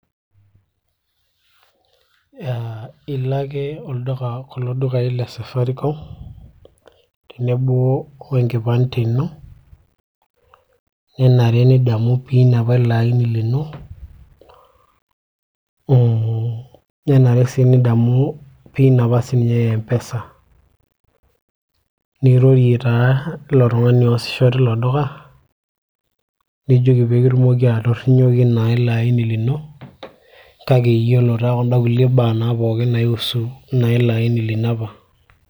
ilo ake olduka kulo dukai le safaricom tenebo wenkipande ino nenare nidamu pin apa ilo aini lino nenare sii nidamu pin apa siininye e mpesa nirorie taa ilo tung'ani oosisho tilo duka nijoki peekitumoki naa atorrinyoki naa ilo aini lino kake iyiolo taa kunda kulie baa naa pookin naaiusu naa ilo aini lino apa.